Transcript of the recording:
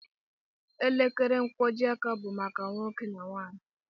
Elekere nkwọjiaka bụ maka nwoke na nwaanyị.